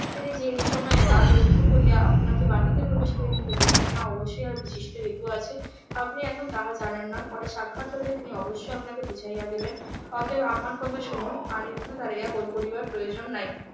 তিনি যে এই সময় দ্বার রুদ্ধ করিয়া আপনাকে বাটিতে প্রবেশ করিতে দিতেছেন না অবশ্যই এর বিশিষ্ট হেতু আছে আপনি এখন তাহা জানেন না পরে সাক্ষাৎ হইলে তিনি অবশ্যই আপনাকে বুঝাইয়া দেবেন অতএব আমার কথা শুনুন আর এখানে দাঁড়িয়ে গোল করিবার প্রয়োজন নাই